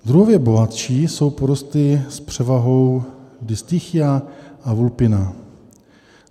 Druhově bohatší jsou porosty s převahou disticha a vulpina.